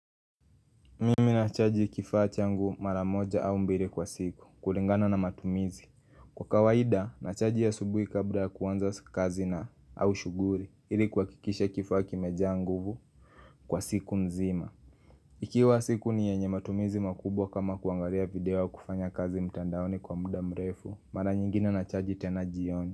Mimi na chaji kifaa changu mara moja au mbili kwa siku kulingana na matumizi Kwa kawaida nachaji asubuhi kabla ya kuanza kazi na au shughuli ili kuhakikisha kifaa kimejaa nguvu kwa siku nzima Ikiwa siku ni yenye matumizi makubwa kama kuangalia video ya kufanya kazi mtandaoni kwa muda mrefu mara nyingine nachaji tena jioni.